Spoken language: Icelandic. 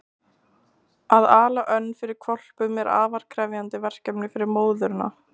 Að ala önn fyrir hvolpum er afar krefjandi verkefni fyrir móðurina.